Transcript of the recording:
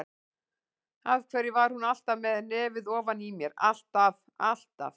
Af hverju var hún alltaf með nefið ofan í mér, alltaf, alltaf.